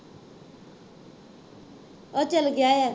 ਉਹ ਚੱਲ ਗਿਆ ਹੈ